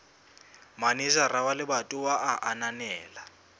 manejara wa lebatowa a ananela